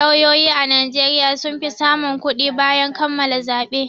Lauyoyi a Najeriya sun fi samun kuɗi bayan kammala zaɓe.